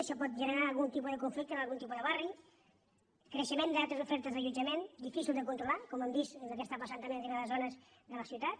això pot generar algun tipus de conflicte en algun tipus de barri creixement d’altres ofertes d’allotjament difícils de controlar com hem vist que passa també en determinades zones de la ciutat